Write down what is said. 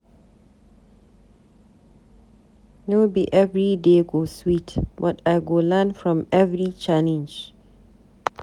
No be every day go sweet, but I go learn from every challenge.